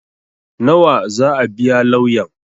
Nawa zaa biya lauyan?